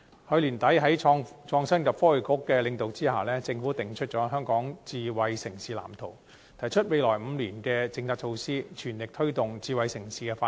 去年年底在創新及科技局的領導下，政府訂出《香港智慧城市藍圖》，提出未來5年的政策措施，全力推動智慧城市的發展。